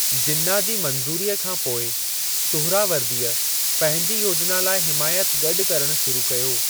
जिन्ना जी मंज़ूरीअ खां पोइ, सुहरावर्दीअ पंहिंजी योजना लाइ हिमायत गॾु करणु शुरू कयो।